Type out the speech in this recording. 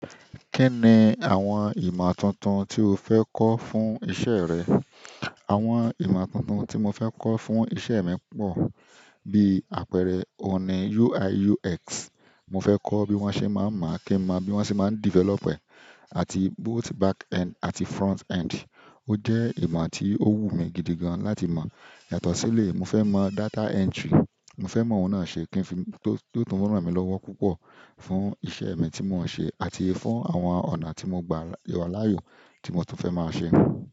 Kí ni àwọn ìmọ̀ tuntun tí o fẹ́ kọ́ fún iṣẹ́ rẹ? Àwọn ìmọ̀ tuntun tí mo fẹ́ kọ́ fún iṣẹ́ mi pọ̀, bí àpẹẹrẹ oní UI UX. Mo fe ko bi wan se ma n mo, kin mo bi wan se ma n develop e, àti backend, àti frontend. Ó jẹ́ ìmọ̀ tí ó wù mí gidi gan láti mọ̀. Yàtọ̀ sí eléyi, mo fẹ́ mọ̀ data entry. Mo fẹ́ mọ̀ òun náà ṣe kí n fi tó, tó tún ràn mí lọ́wọ́ púpọ̀ fún iṣẹ́ mi tí mò ń ṣe àti fún àwọn ọ̀nà tí mo n gba ìrọ̀ láàyò tí mo tún fẹ́ máa ṣe.